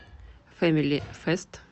фэмилифест